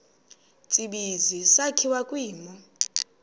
tsibizi sakhiwa kwimo